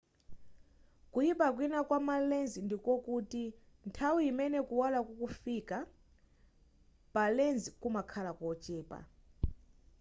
kuyipa kwina kwa ma lens ndikokuti nthawi imene kuwala kukufika kuthamanga pa lens kumakhala kochepa